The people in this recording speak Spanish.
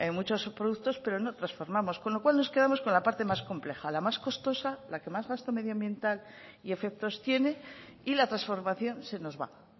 muchos productos pero no transformamos con lo cual nos quedamos con la parte más compleja la más costosa la que más gasto medioambiental y efectos tiene y la transformación se nos va